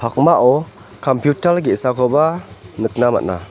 pakmao kampiutal ge·sakoba nikna man·a.